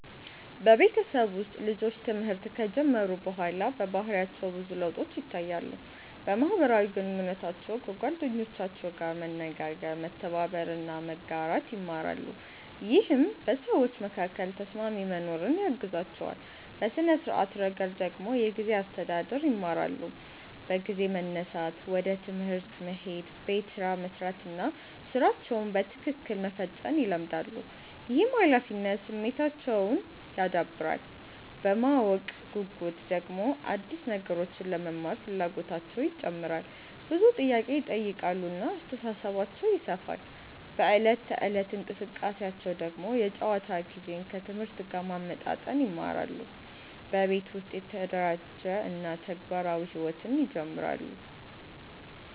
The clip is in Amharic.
በቤተሰብ ውስጥ ልጆች ትምህርት ከጀመሩ በኋላ በባህሪያቸው ብዙ ለውጦች ይታያሉ። በማህበራዊ ግንኙነታቸው ከጓደኞቻቸው ጋር መነጋገር፣ መተባበር እና መጋራት ይማራሉ፣ ይህም በሰዎች መካከል ተስማሚ መኖርን ያግዛቸዋል። በሥነ-ስርዓት ረገድ ደግሞ የጊዜ አስተዳደር ይማራሉ፤ በጊዜ መነሳት፣ ወደ ትምህርት መሄድ፣ ቤት ስራ መስራት እና ሥራቸውን በትክክል መፈጸም ይለመዳሉ። ይህም ኃላፊነት ስሜታቸውን ያዳብራል። በማወቅ ጉጉት ደግሞ አዲስ ነገሮችን ለመማር ፍላጎታቸው ይጨምራል፣ ብዙ ጥያቄ ይጠይቃሉ እና አስተሳሰባቸው ይሰፋል። በዕለት ተዕለት እንቅስቃሴያቸው ደግሞ የጨዋታ ጊዜን ከትምህርት ጋር ማመጣጠን ይማራሉ፣ በቤት ውስጥ የተደራጀ እና ተግባራዊ ሕይወት ይጀምራሉ።